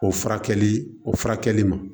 O furakɛli o furakɛli ma